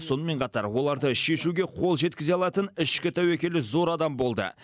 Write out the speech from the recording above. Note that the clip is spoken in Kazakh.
сонымен қатар оларды шешуге қол жеткізе алатын ішкі тәуекелі зор адам болды